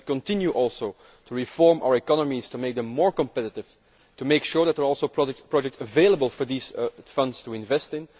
We will have to continue to reform our economies to make them more competitive and to make sure that there are projects available for these funds to invest in.